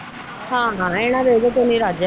ਹਾ ਹਾ ਇਹਨਾ ਦਾ ਇਹਨਾਂ ਤੋ ਨੀ ਰੱਜ।